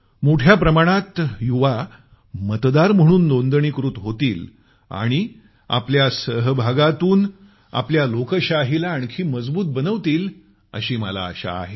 मोठ्या प्रमाणात युवा मतदार म्हणून नोंदणीकृत होतील आणि आपल्या सहभागातून आपली लोकशाहीला आणखी मजबूत बनवतील अशी मला आशा आहे